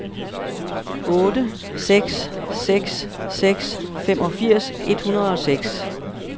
otte seks seks seks femogfirs et hundrede og seks